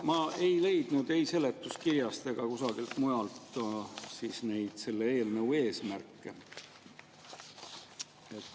Ma ei leidnud ei seletuskirjast ega kusagilt mujalt selle eelnõu eesmärke.